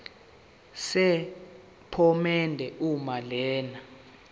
sephomedi uma lena